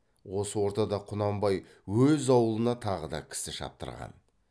осы ортада құнанбай өз аулына тағы да кісі шаптырған